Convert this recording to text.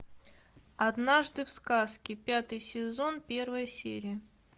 однажды в сказке пятый сезон первая серия